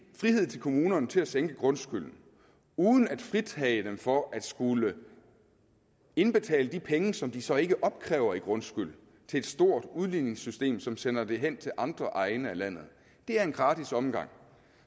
frihed til kommunerne til at sænke grundskylden uden at fritage dem for at skulle indbetale de penge som de så ikke opkræver i grundskyld til et stort udligningssystem som sender dem hen til andre egne af landet er en gratis omgang